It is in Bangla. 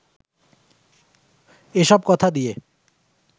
এ সব কথা দিয়ে